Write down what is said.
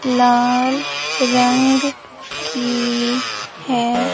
लाल रंग की है।